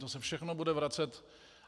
To se všechno bude vracet.